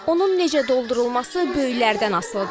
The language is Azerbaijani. Onun necə doldurulması böyüklərdən asılıdır.